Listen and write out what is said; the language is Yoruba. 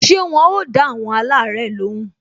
Ṣé wọn ò dá àwọn alare lóhùn?